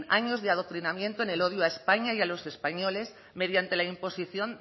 a años de adoctrinamiento en el odio a españa y a los españoles mediante la imposición